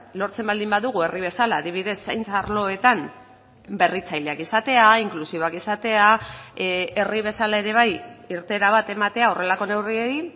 lortzen baldin badugu herri bezala adibidez zaintza arloetan berritzaileak izatea inklusiboak izatea herri bezala ere bai irteera bat ematea horrelako neurriei